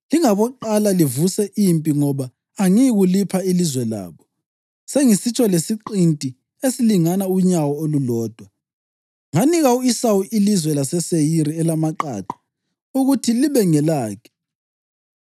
Lingaboqala livuse impi ngoba angiyikulipha ilizwe labo, sengisitsho lesiqinti esilingana unyawo olulodwa. Nganika u-Esawu ilizwe laseSeyiri elamaqaqa ukuthi libe ngelakhe.